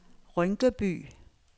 Rynkeby